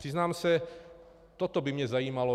Přiznám se, toto by mě zajímalo.